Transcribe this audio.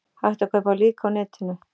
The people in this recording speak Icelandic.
Hægt að kaupa lík á netinu